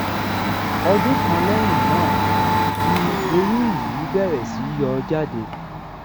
ọdún kan lẹyìn náà ni eyín yìí bẹrẹ sí yọ jáde